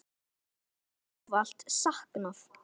Þín verður ávallt saknað.